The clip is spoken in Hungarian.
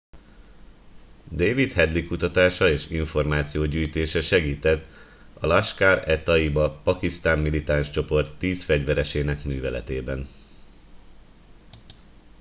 david headley kutatása és információgyűjtése segített a laskhar e taiba pakisztáni militáns csoport 10 fegyveresének műveletében